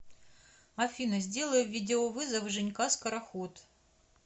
афина сделай видеовызов женька скороход